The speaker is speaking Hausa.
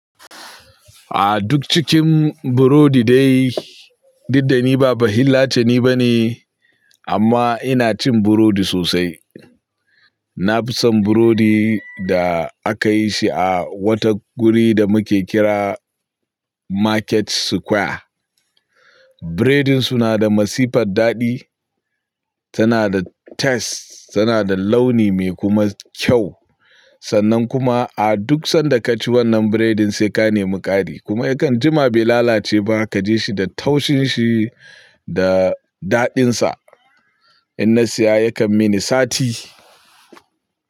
A duk cikin burodi dai, du dani ba bahillace ni bane amma ina cin burodi sosai. Na fi son burodi da aka yi shi a wata guri da muke kira Market Square. Biredin su na da masifar daɗi, tana da taste, tana da launi mai kuma kyau. Sannan kuma a duk sanda ka ci wannan biredin sai ka nemi ƙari kuma yakan jima bai lalace ba kaji shi da taushin shi. Da daɗin sa. In na siya yakan mini sati.